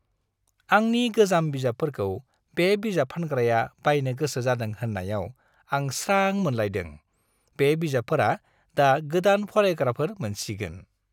आंनि गोजाम बिजाबफोरखौ बे बिजाब फानग्राया बायनो गोसो जादों होन्नायाव आं स्रां मोनलायदों। बे बिजाबफोरा दा गोदान फरायग्राफोर मोनसिगोन।